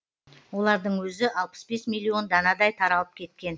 олардың өзі алпыс бес миллион данадай таралып кеткен